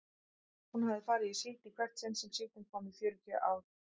Hún hafði farið í síld í hvert sinn sem síldin kom í fjörutíu ár.